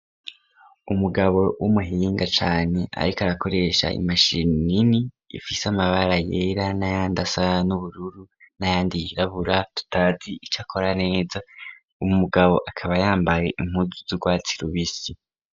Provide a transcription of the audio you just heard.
Umugabo w'umuhinga cane ariko arakoresha imashini nini ifise amabara yera n'ayandi asa n'ubururu n'ayandi yirabura tutazi ico akora neza . Umugabo akaba yambaye impuzu z'urwatsi rubisi.